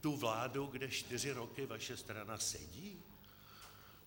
Tu vládu, kde čtyři roky vaše strana sedí?